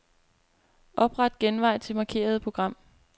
Opret genvej til markerede program.